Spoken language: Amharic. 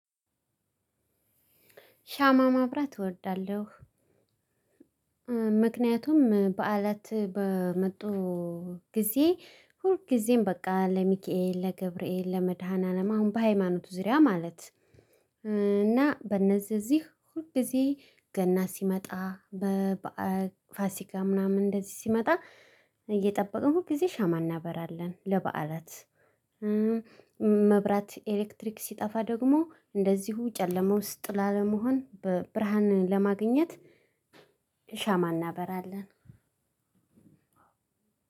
ሻማ ማብራት እወዳለሁ። ምክንያቱም በአለት በመጡ ጊዜ ሁል ጊዜም በቃ ለሚካኤል፣ ለገብርኤል፣ ለመድኃኒዓለም አሁን በሃይማኖቱ ዙሪያ ማለት። እና በእነዚህ እዚህ ሁል ጊዜ ገና ሲመጣ በበዓል ፋሲካ ምናምን እንደዚህ ሲመጣ እየጠበቅን ሁልጊዜ ሻማ እናበራለን ለበዓላት። መብራት ኤሌክትሪክ ሲጠፋ ደግሞ እንደዚሁ ጨለማ ውስጥ ላለመሆን ብርሃን ለማግኘት። ሻማ እናበራለን።